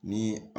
Ni